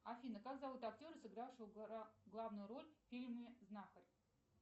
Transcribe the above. афина как зовут актера сыгравшего главную роль в фильме знахарь